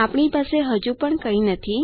આપણી પાસે હજુ પણ કાંઇ નથી